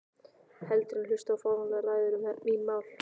Heldur en hlusta á fáránlegar ræður um mín mál.